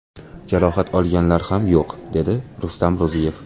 Jarohat olganlar ham yo‘q, dedi Rustam Ro‘ziyev.